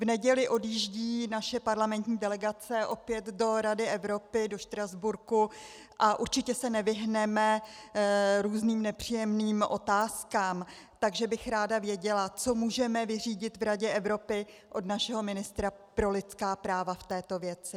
V neděli odjíždí naše parlamentní delegace opět do Rady Evropy do Štrasburku a určitě se nevyhneme různým nepříjemným otázkám, takže bych ráda věděla, co můžeme vyřídit v Radě Evropy od našeho ministra pro lidská práva v této věci.